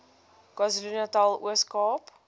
kwazulunatal ooskaap